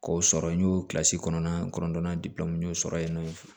K'o sɔrɔ n y'o kilasi kɔnɔn na n kɔnɔntɔnna n y'o sɔrɔ yen nɔ